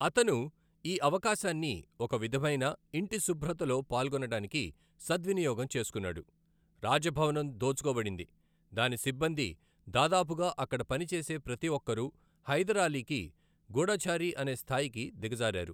అతను ఈ అవకాశాన్ని ఒక విధమైన ఇంటి శుభ్రతలో పాల్గొనడానికి సద్వినియోగం చేసుకున్నాడు. రాజ భవనం దోచుకో బడింది, దాని సిబ్బంది దాదాపుగా అక్కడ పనిచేసే ప్రతి ఒక్కరూ హైదర్ అలీకి గూఢచారి అనే స్థాయికి దిగజారారు.